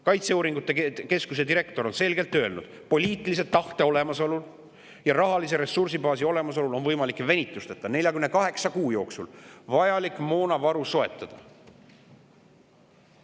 Kaitseuuringute keskuse direktor on selgelt öelnud: poliitilise tahte olemasolul ja rahalise ressursibaasi olemasolul on võimalik venitusteta 48 kuu jooksul vajalik moonavaru soetada.